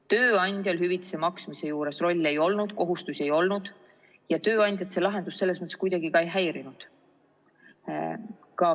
Tööandjal hüvitise maksmise juures rolli ei olnud, kohustusi ei olnud ja tööandjat see lahendus selles mõttes kuidagi ka ei häirinud.